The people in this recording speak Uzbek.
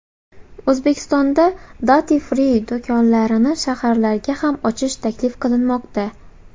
O‘zbekistonda duty-free do‘konlarini shaharlarda ham ochish taklif qilinmoqda.